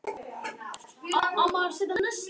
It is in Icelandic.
Sögðu að veggirnir væru eins og skorsteinn.